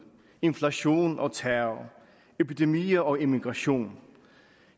inflation og terror epidemier og emigration